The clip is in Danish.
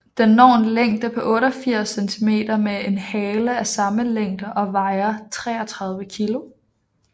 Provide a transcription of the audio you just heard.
Den når en længde på 88 cm med en hale af samme længde og vejer 33 kg